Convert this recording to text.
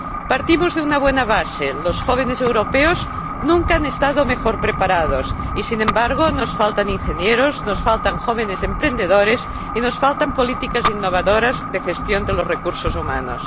Partimos de una buena base los jóvenes europeos nunca han estado mejor preparados y, sin embargo, nos faltan ingenieros, nos faltan jóvenes emprendedores y nos faltan políticas innovadoras de gestión de los recursos humanos.